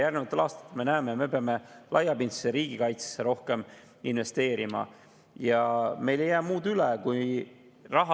Me näeme, et järgnevatel aastatel me peame investeerima rohkem laiapindsesse riigikaitsesse ja meil ei jää muud üle.